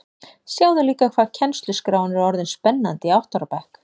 Sjáðu líka hvað kennsluskráin er orðin spennandi í átta ára bekk